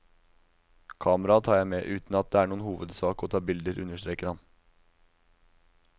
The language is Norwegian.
Kamera tar jeg med, uten at det er noen hovedsak å ta bilder, understreker han.